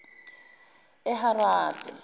eharade